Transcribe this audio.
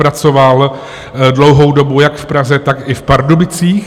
Pracoval dlouhou dobu jak v Praze, tak i v Pardubicích.